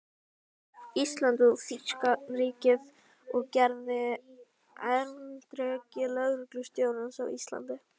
Íslands í þýska ríkið og gerðist erindreki lögreglustjórans á Íslandi.